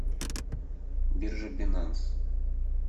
биржи бинанс